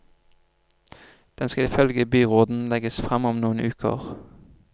Den skal ifølge byråden legges frem om noen uker.